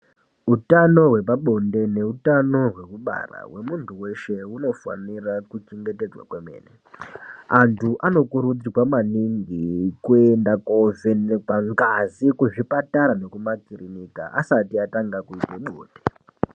Utano hwepabonde neutano hwekubara hwemunthu weshe hunofanira kuchengetedzwa kwemene anthu anokuurudzirwa maningi kuenda kovhenekwa ngazi kuzvipatara nekumakirika asti atanga kuite bonde.